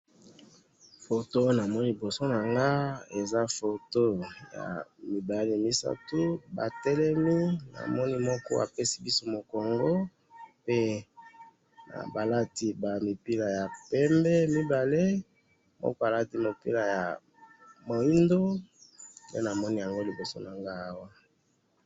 Foto namoni liboso nanga, eza foto yamibali misatu batelemi, namoni moko apesi biso mukongo, pe balati bamipila ya pembe mibale, moko alati mopila ya mwindo, nde namoni liboso nanga awa